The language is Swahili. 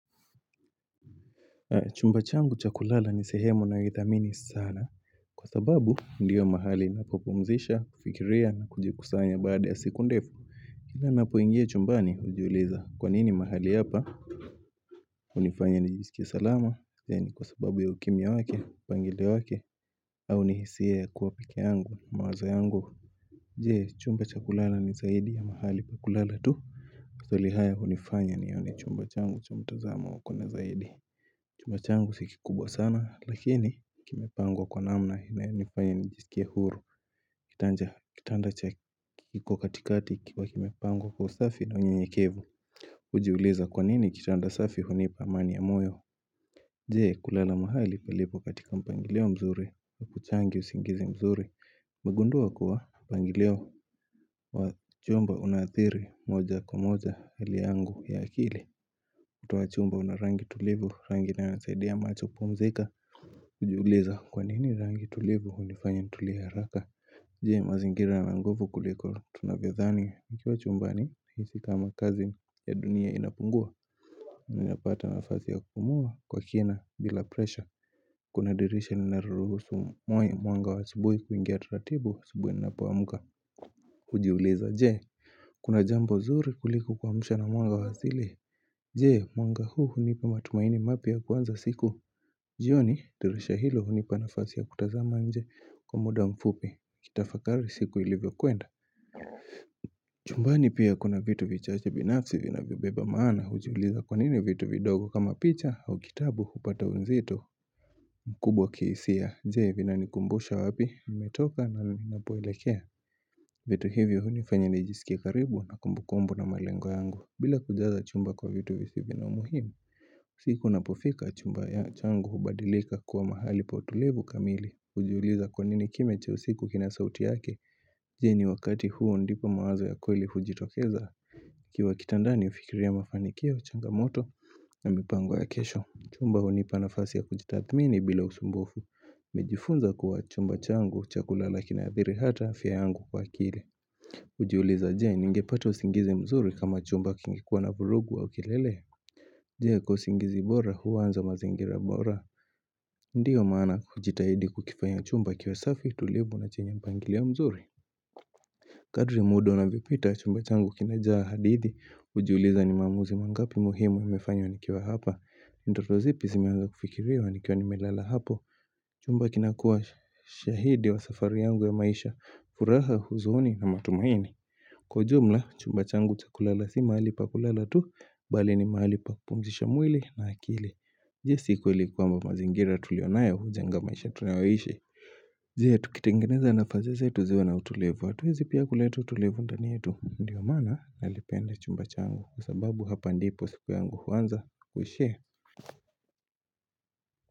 Chumba changu cha kulala ni sehemu ninayo ithamini sana Kwa sababu ndiyo mahali napo pumzika, kufikiria na kujikusanya baada ya siku ndefu Kila napoingia chumbani ujiuliza kwa nini mahali hapa. Unifanya nijisikie salama, ni kwa sababu ya ukimya wake, mpangilio wake au ni hisia ya kuwa peke yangu ni mawazo yangu. Je? Chumba cha kulala ni zaidi ya mahali pakulala tu maswali haya unifanya nione chumba changu cha mtazamo wa kona zaidi Chumba changu si kikubwa sana lakini kimepangwa kwa namna inayo nifanya nijisikie huru. Kitanda kiko katikati kikiwa kimepangwa kwa usafi na unyenyekevu. Ujiuliza kwa nini kitanda safi hunipa amani ya moyo Je, kulala mahali palipo katika mpangilio mzuri akuchangii usingizi mzuri. Nimegundua kuwa mpangilio wa chumba unathiri moja kwa moja iliyangu ya akili ukuta wa chumba unarangi tulivu rangi inayo saidia macho kupumzika. Ujiuliza kwa nini rangi tulivu unifanya nitulie haraka. Je, mazingira yana nguvu kuliko tunavyo dhani, nikiwa chumbani nahisi kama kasi ya dunia inapungua Nina pata nafasi ya kupumua kwa kina bila presha. Kuna dirisha lina ruhusu mwanga wa asubui kuingia taratibu asubui ninapo amka. Ujiuliza je? Kuna jambo zuri kuliko kuamshwa na mwanga wa asili Je, mwanga huu unipa matumaini mapya ya kuanza siku jioni dirisha hilo hunipa nafasi ya kutazama nje kwa muda mfupi nikitafakari siku ilivyo kwenda. Chumbani pia kuna vitu vichache binafsi vinavyo beba maana, ujiuliza kwa nini vitu vidogo kama picha au kitabu upata uzito. Mkubwa kihisia, je vina nikumbusha wapi, nimetoka na ninapoelekea vitu hivyo hunifanya nijisikie karibu na kumbukumbu na malengo yangu bila kujaza chumba kwa vitu visivyo na umuhimu. Siku napofika chumba changu hubadilika kuwa mahali pa utulivu kamili ujiuliza kwa nini kimya cha usiku kina sauti yake. Je ni wakati huo ndipo mawazo ya kweli ujitokeza. Ukiwa kitandani ufikiria mafanikio, changamoto na mipango ya kesho Chumba hunipa nafasi ya kujitathmini bila usumbufu nimejifunza kuwa chumba changu cha kulala kina athiri ata afya yangu kwa akili. Ujiuliza je ningepata usingizi mzuri kama chumba kingekuwa na vurugu au kilele. Je, kwa usingizi bora uanza mazingira bora. Ndiyo maana ujitahidi kukifanya chumba kiwe safi utulivu na chenye mpangilio mzuri. Kadri muda unavyo pita chumba changu kimejaa hadithi ujuliza ni maamuzi mangapi muhimu nimefanya nikiwa hapa. Ndoto zipi zimeanza kufikiriwa nikiwa nimelala hapo. Chumba kinakua shahidi wa safari yangu ya maisha furaha, huzuni na matumaini kwa ujumla chumba changu cha kulala si mahali pakulala tu bali ni mahali pakupumzisha mwili na akili Je si kwamba mazingira tulionayo ujenga maisha tunayo aishi je tukitengeneza nafasi zetu ziwe na utulivu, atuwezi pia kuleta utulivu ndani yetu ndiyo mana nakipenda chumba changu kwa sababu hapa ndipo siku yangu uanza na kuisha.